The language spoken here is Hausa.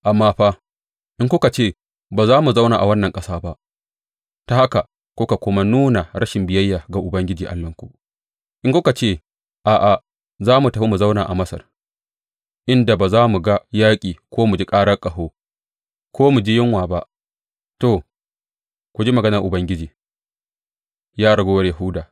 Amma fa, in kuka ce, Ba za mu zauna a wannan ƙasa ba,’ ta haka kuka kuma nuna rashin biyayya ga Ubangiji Allahnku, in kuma kuka ce, A’a, za mu tafi mu zauna a Masar, inda ba za mu ga yaƙi ko mu ji ƙarar ƙaho ko mu ji yunwa ba,’ to, ku ji maganar Ubangiji, ya raguwar Yahuda.